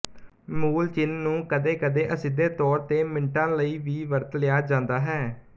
ਮੂਲ ਚਿੰਨ੍ਹ ਨੂੰ ਕਦੇਕਦੇ ਅਸਿੱਧੇ ਤੌਰ ਤੇ ਮਿੰਟਾਂ ਲਈ ਵੀ ਵਰਤ ਲਿਆ ਜਾਂਦਾ ਹੈ